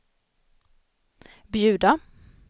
bjuda